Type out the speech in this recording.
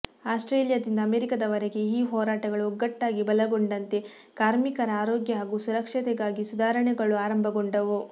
ಆಸ್ಟ್ರೇಲಿಯಾದಿಂದ ಅಮೆರಿಕಾದವರೆಗೆ ಈ ಹೋರಾಟಗಳು ಒಗ್ಗಟ್ಟಾಗಿ ಬಲಗೊಂಡಂತೆ ಕಾರ್ಮಿಕರ ಆರೋಗ್ಯ ಹಾಗೂ ಸುರಕ್ಷತೆಗಾಗಿ ಸುಧಾರಣೆಗಳು ಆರಂಭಗೊಂಡವು